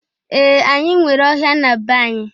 Ee! Anyị nwere ọhịa na be anyị.